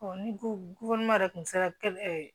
ni ko yɛrɛ tun sera kɛlɛ